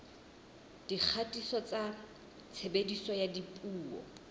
dikgatiso tsa tshebediso ya dipuo